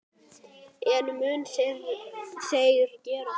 En munu þeir gera það?